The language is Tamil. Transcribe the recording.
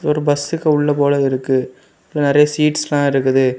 ஒரு பஸ்சுக்கு உள்ள போல இருக்கு நிறைய சீட்ஸ்லா இருக்குது.